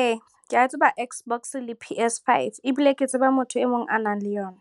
Ee, ke a tseba Xbox le PS5 ebile ke tseba motho e mong a nang le yona.